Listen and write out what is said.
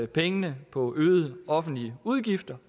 pengene på øgede offentlige udgifter